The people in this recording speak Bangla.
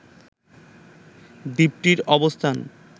দ্বীপটির অবস্থান